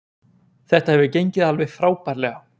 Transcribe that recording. Þetta hefur gengið alveg frábærlega